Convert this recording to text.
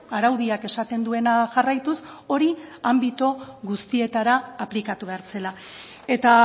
araudiak esaten duena jarraituz hori anbito guztietara aplikatu behar zela eta